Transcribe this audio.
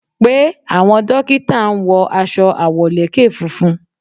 Pe, àwọn dókítà ń wọ aṣọ àwọ̀lékè funfun.